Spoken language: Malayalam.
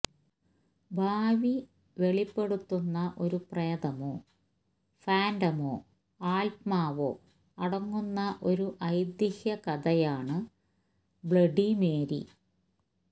ഭാവി വെളിപ്പെടുത്തുന്ന ഒരു പ്രേതമോ ഫാന്റമോ ആത്മാവോ അടങ്ങുന്ന ഒരു ഐതീഹ്യകഥയാണ് ബ്ലഡി മേരി